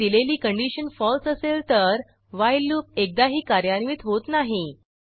आणि दिलेली condition false असेल तर व्हाईल लूप एकदाही कार्यान्वित होत नाही